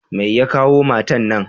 Mai ya kawo matan na?